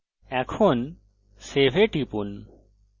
এখন save এ টিপুন